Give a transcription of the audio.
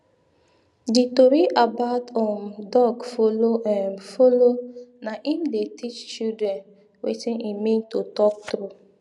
the tori about um dog follow um follow na im dey teach children wetin e mean to talk true